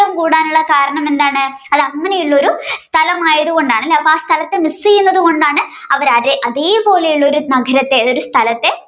കൂടാനുള്ള കാരണം എന്താണ് അങ്ങനെയുള്ള ഒരു സ്ഥലം ആയതുകൊണ്ട് അപ്പോ ആ സ്ഥലത്ത് miss ചെയ്യുന്നതുകൊണ്ടാണ് അവർ അതേ അതേപോലെയുള്ള ഒരു നഗരത്തെ അതായത് ഒരു സ്ഥലത്തെ